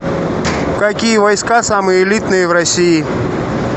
какие войска самые элитные в россии